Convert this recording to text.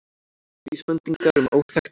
Vísbendingar um óþekkta konu